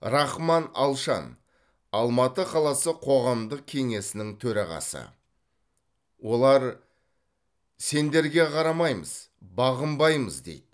рахман алшан алматы қаласы қоғамдық кеңесінің төрағасы олар сендерге қарамаймыз бағынбаймыз дейді